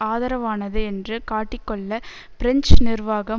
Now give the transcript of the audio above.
ஆதரவானது என்று காட்டிக்கொள்ள பிரஞ்சு நிர்வாகம்